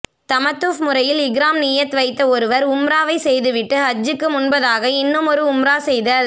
தமத்துஃ முறையில் இஹ்ராம் நிய்யத் வைத்த ஒருவர் உம்ராவைச் செய்து விட்டு ஹஜ்ஜுக்கு முன்பதாக இன்னுமொரு உம்ரா செய்தல்